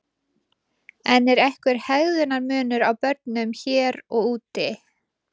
En er einhver hegðunar munur á börnum hér og úti?